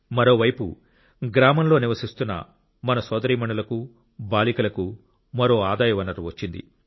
మరోవైపు గ్రామంలో నివసిస్తున్న మన సోదరీమణులకు బాలికలకు మరో ఆదాయ వనరు వచ్చింది